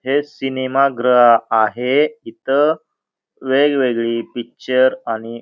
हे सिनेमा गृह आहे इथ वेगवेगळी पिक्चर आणि --